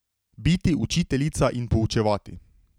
Biti učiteljica in poučevati.